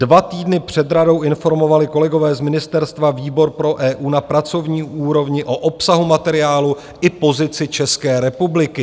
Dva týdny před radou informovali kolegové z ministerstva výbor pro EU na pracovní úrovni o obsahu materiálu i pozici České republiky.